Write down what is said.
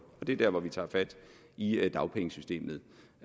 og det er der hvor vi tager fat i dagpengesystemet